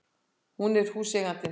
Hún var húseigandinn!